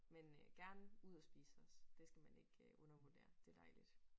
Men øh gerne ud at spise også det skal man ikke øh undervurdere. Det dejligt